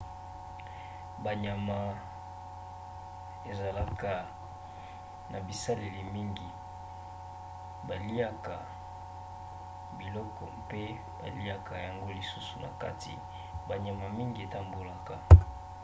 banyama ezalaka na baselile mingi. baliaka biloko mpe baliaka yango lisusu na kati. banyama mingi etambolaka